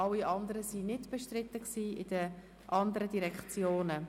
Alle anderen waren bei den jeweiligen Direktionen nicht bestritten.